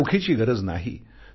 त्यांना रोखीची गरज नाही